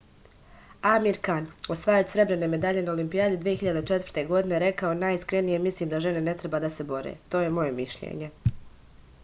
amir kan osvajač srebrne medalje na olimpijadi 2004. godine rekao je najiskrenije mislim da žene ne treba da se bore to je moje mišljenje